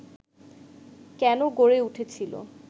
কেন গড়ে উঠেছিল